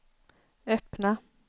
öppna